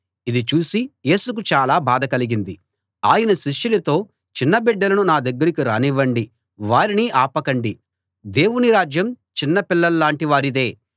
ఇది చూసి యేసుకు చాలా బాధ కలిగింది ఆయన శిష్యులతో చిన్న బిడ్డలను నా దగ్గరికి రానివ్వండి వారిని ఆపకండి దేవుని రాజ్యం చిన్నపిల్లల్లాంటి వారిదే